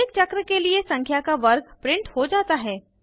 प्रत्येक चक्र के लिए संख्या का वर्ग प्रिंट हो जाता है